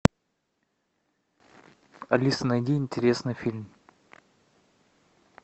алиса найди интересный фильм